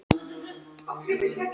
Þar er margt til að glepja.